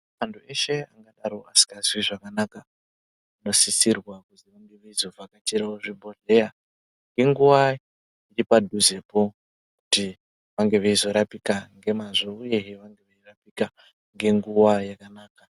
Antu eshe angadaro asikazwi zvakanaka ,anosisirwa kuzi vange veizovhakachira kuzvibhedhlera ngenguwa iripadhuzepo kuti vange veizorapika nemazvo uye kuti vange veizorapika ngenguwa yakanaka.